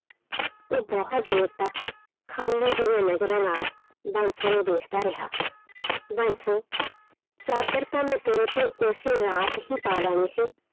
ਉਹ ਬਹੁਤ ਦੇਰ ਤੱਕ ਖਾਲੀ ਜਿਹੀਆਂ ਨਜ਼ਰਾਂ ਨਾਲ ਬਾਂਸੋ ਨੂੰ ਦੇਖਦਾ ਰਿਹਾ ਬਾਂਸੋ ਚਾਦਰ ਤਾਂ ਮੈਂ ਤੇਰੇ ਤੇ ਉਸੇ ਰਾਤ ਹੀ ਪਾ ਲੈਣੀ ਸੀ,